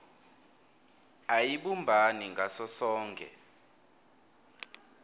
ayibumbani ngaso sonkhe